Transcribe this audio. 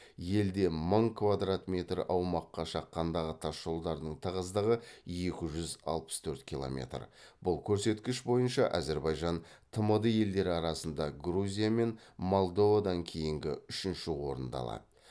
елде мың квадрат метр аумаққа шаққандағы тасжолдардың тығыздығы екі жүз алпыс төрт километр бұл көрсеткіш бойынша әзірбайжан тмд елдері арасында грузия мен молдовадан кейінгі үшінші орынды алады